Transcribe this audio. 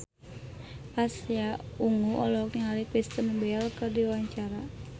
Pasha Ungu olohok ningali Kristen Bell keur diwawancara